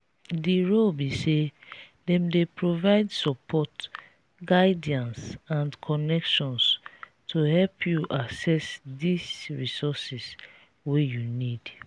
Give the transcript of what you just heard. di role be say dem dey provide support guidance and connections to help you access di resources wey you need.